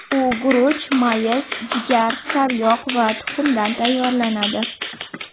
U guruch, mayiz, jigar, sariyog‘ va tuxumdan tayyorlanadi.